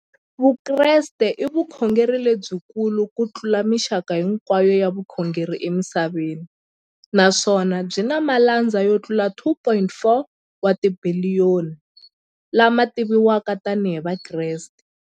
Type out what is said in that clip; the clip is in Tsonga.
Vukreste i vukhongeri lebyi kulu kutlula mixaka hinkwayo ya vukhongeri emisaveni, naswona byi na malandza yo tlula 2.4 wa tibiliyoni, la ma tiviwaka tani hi Vakreste.